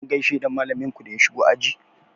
Kun gaishe da malamin ku da ya shigo aji?